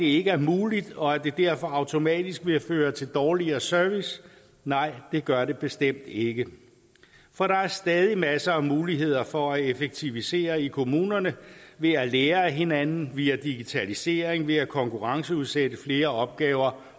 ikke er muligt og at det derfor automatisk vil føre til dårligere service nej det gør det bestemt ikke for der er stadig masser af muligheder for at effektivisere i kommunerne ved at lære af hinanden via digitalisering ved at konkurrenceudsætte flere opgaver